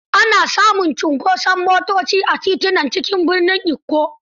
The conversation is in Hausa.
Ana samun cunkoson motoci a titunan cikin birnin Ikko.